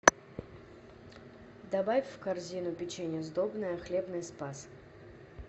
добавь в корзину печенье сдобное хлебный спас